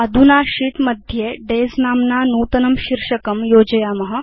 अधुना अस्माकं शीत् मध्ये डेज नाम्ना नूतनं शीर्षकं योजयाम